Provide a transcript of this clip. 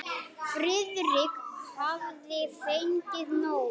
Friðrik hafði fengið nóg.